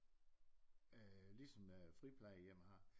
Ligesom friplejehjem har